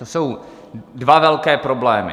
To jsou dva velké problémy.